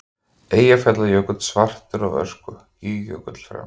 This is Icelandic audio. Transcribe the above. Eyjafjallajökull svartur af ösku, Gígjökull fremst.